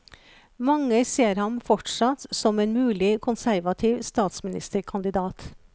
Mange ser ham fortsatt som en mulig konservativ statsministerkandidat.